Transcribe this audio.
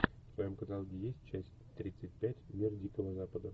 в твоем каталоге есть часть тридцать пять мир дикого запада